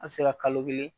A bɛ se ka kalo kelen